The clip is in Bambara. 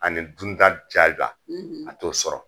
Ani dun ta a t'o sɔrɔ.